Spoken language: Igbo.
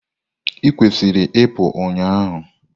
ikwesịrị ị pụu ụnyahụ!